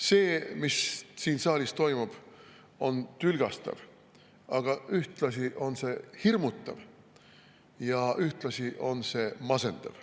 See, mis siin saalis toimub, on tülgastav, aga ühtlasi on see hirmutav ja ühtlasi on see masendav.